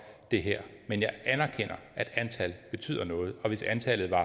det her men jeg anerkender at antallet betyder noget og hvis antallet var